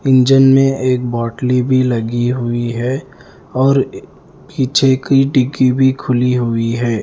Engine में एक बोतली भी लगी हुई है और पीछे की डिग्गी भी खुली हुई है।